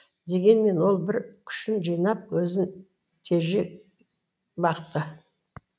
дегенмен ол бар күшін жинап өзін тежеп бақты